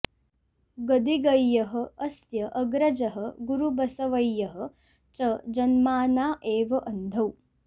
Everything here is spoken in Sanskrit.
गदिगय्यः अस्य अग्रजः गुरुबसवय्यः च जन्माना एव अन्धौ